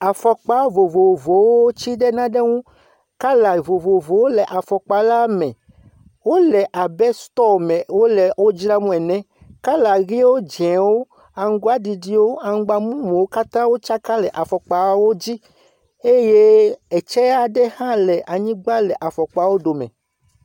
Afɔkpa vovovowo tsi ɖe na ne ŋu. color vovovowo le afɔkpala me. Wole abe stɔɔ me wole wo dram le ene. Color ʋiwo, dz0awo, amgbaɖiɖiwo, amgbamumuwo katãwo tsaka le afɔkpawo dzi. Eye etsea ɖe hã le anyigba le afɔkpa wo ɖo me.